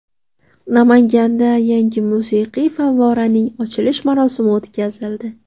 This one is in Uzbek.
Namanganda yangi musiqiy favvoraning ochilish marosimi o‘tkazildi.